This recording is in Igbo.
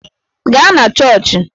Gaa na chọọchị!